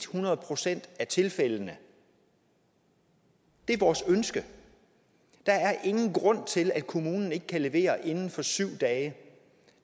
hundrede procent af tilfældene det er vores ønske der er ingen grund til at kommunen ikke kan levere inden for syv dage